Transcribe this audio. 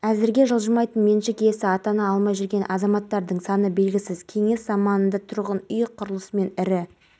олар қылмыспен күресте алдыңғылардың қатарынан табылып азаматтардың құқықтары мен бостандықтарын бірінші болып қорғайды соңғы жылдары қызметтеріңіздің